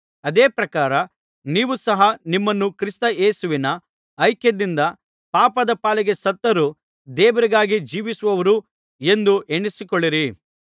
ಅದೇ ಪ್ರಕಾರ ನೀವು ಸಹ ನಿಮ್ಮನ್ನು ಕ್ರಿಸ್ತ ಯೇಸುವಿನ ಐಕ್ಯದಿಂದ ಪಾಪದ ಪಾಲಿಗೆ ಸತ್ತವರೂ ದೇವರಿಗಾಗಿ ಜೀವಿಸುವವರೂ ಎಂದು ಎಣಿಸಿಕೊಳ್ಳಿರಿ